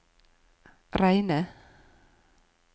Reine